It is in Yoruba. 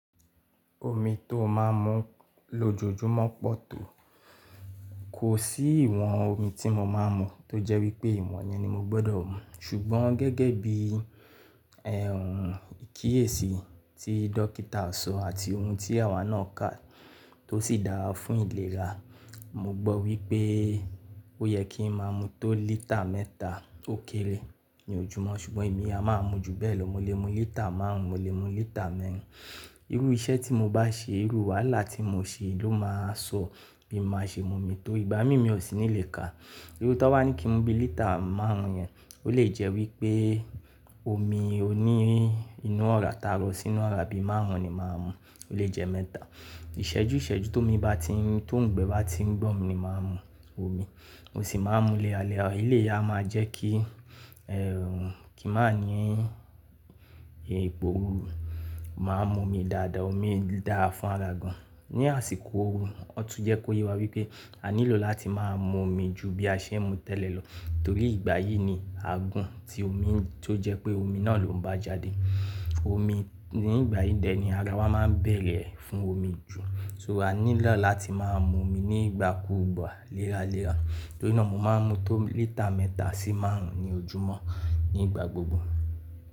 Omi tó máa ń mu lójoojúmọ́ pọ̀ tó. Kò sí ìwọ̀n omi tí mo máa ń mu tó jẹ́ wípé ìwọ̀n yẹn ni mo gbọ́dọ̀ mu. Ṣùgbọ́n gẹ́gẹ́ bí, ẹ̀hnn, ìkíyèsi tí dókítà sọ àti ohun tí àwa náà kà, tó sì dára fún ìlera, mo gbọ́ wípé ó yẹ kí n máa mu tó lítà mẹ́ta ó kéré ní ojúmọ́. Ṣùgbọ́n èmi a máa mu ju bẹ́ẹ̀ lọ. Mo lè mu lítà márùn-ún, mo lè mu lítà mẹ́rin. Irú iṣẹ́ tí mo bá ṣe, irú wàhálà tí mo ṣe ló máa sọ bí máa ṣe mu mi tó ìgbámi mi ò sí ní lè kàá. Irú tó bá ní kí n mu bí lítà márùn-ún yẹn, ó lè jẹ́ wípé omi ó ní inú ọ̀rá ta rọ́ sínú ọ̀rá bí márùn-ún ni màá mu. Ó lè jẹ́ mẹ́ta. Ìṣẹ́jú ìṣẹ́jú, tó mi bá ti n, tó ń gbẹ̀ bá ti ń gbọ̀n mi ni màá n mu omi. Mo sì máa ń mú léra léra, eléyìí a máa jẹ́ kí, ẹ̀hnn, kí n màá ní ìpòrúrú máa mu omi dáadáa. Omi dára fún ara gan-an. Ní àsìkò òru, wọn tún jẹ́ kó yé wa wípé a nílò láti máa mu omi ju bí a ṣe ń mu tẹ́lẹ̀ lọ torí ìgbà yìí ni àgùn tí omi tó jẹ́ pé omi náà ló ń bá jáde. Omi ní ìgbà yìí dè ni ara wa máa ń bẹ̀rẹ̀ fún omi jù. So a nílò láti máa mu omi ní ìgbàkúùgbà léra léra. Torí náà mo máa ń mu tó lítà mẹ́ta sí márùn-ún ní ojúmọ́ ní ìgbà gbogbo.